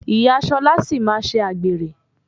Ìyá Ṣọlá sì máa ṣe àgbèrè.